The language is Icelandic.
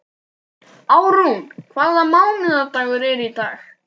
Árún, hvaða mánaðardagur er í dag?